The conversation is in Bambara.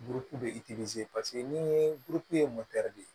Burukumu bɛ paseke ni ye burukuru ye de